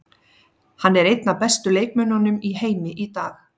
Hann er einn af bestu leikmönnum í heimi í dag.